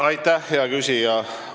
Aitäh, hea küsija!